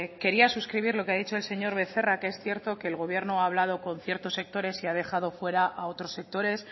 quería suscribir lo que ha dicho el señor becerra que es cierto que el gobierno ha hablado con ciertos sectores y ha dejado fuera a otros sectores